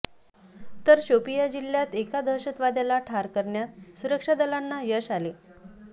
तर शोपिया जिल्ह्यात एका दहशतवाद्याला ठार करण्यात सुरक्षा दलांना यश आले